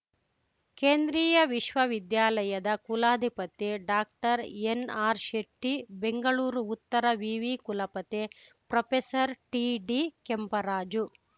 ಕೇಂದ್ರೀಯ ವಿಶ್ವವಿದ್ಯಾಲಯದ ಕುಲಾಧಿಪತಿ ಡಾಕ್ಟರ್ಎನ್‌ಆರ್‌ಶೆಟ್ಟಿ ಬೆಂಗಳೂರು ಉತ್ತರ ವಿವಿ ಕುಲಪತಿ ಪ್ರೊಫೆಸರ್ಟಿಡಿಕೆಂಪರಾಜು